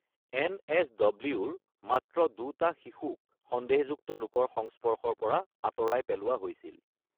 N S ডব্লিউৰ মাত্ৰ দুটা শিশুক সন্দেহযুক্ত লোকৰ সংস্পৰ্শৰ পৰা আঁতৰাই পেলোৱা হৈছিল।